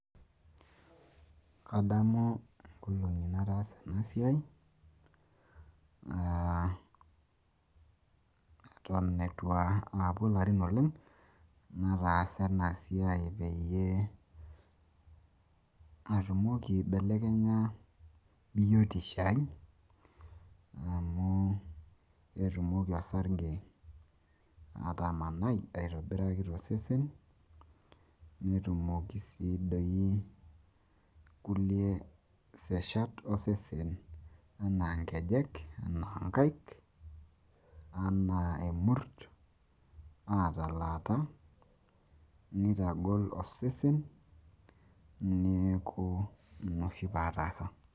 kadamu inklongi nataasa ena siai, eton eitu aapuo larin oleng'nataasa ena siai peyie, atumoki aibelekenya biotisho ai, amu etumoki osarge atamanai tosesen, netumoki iseshata osesen anaa inkejek, inkaik, emurt, neitagol osesen. neeku ina oshi pee ataasa.